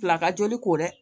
Fila ka joli ko dɛ